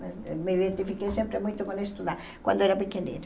Me identifiquei sempre muito com estudar, quando era pequenina.